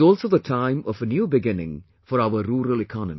It is also the time of a new beginning for our rural economy